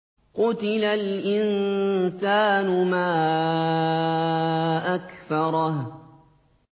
قُتِلَ الْإِنسَانُ مَا أَكْفَرَهُ